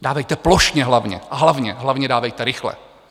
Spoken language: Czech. Dávejte plošně hlavně, a hlavně dávejte rychle.